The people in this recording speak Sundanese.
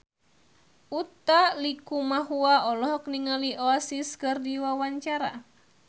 Utha Likumahua olohok ningali Oasis keur diwawancara